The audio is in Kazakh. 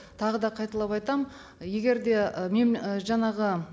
тағы да қайталап айтамын егер де ы жаңағы